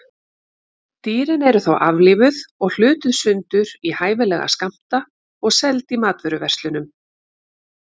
Dýrin eru þá aflífuð og hlutuð sundur í hæfilega skammta og seld í matvöruverslunum.